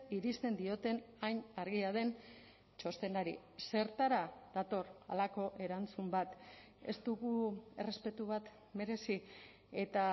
irizten dioten hain argia den txostenari zertara dator halako erantzun bat ez dugu errespetu bat merezi eta